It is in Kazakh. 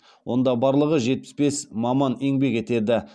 онда барлығы жетпіс бес маман еңбек етеді